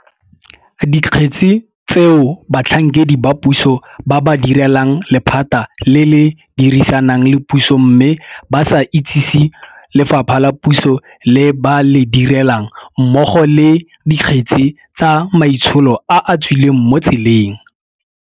Dikgetse tseo batlhankedi ba puso ba ba direlang lephata le le dirisanang le puso mme ba sa itsesi lefapha la puso le ba le direlang, mmogo le, Dikgetse tsa maitsholo a a tswileng mo tseleng.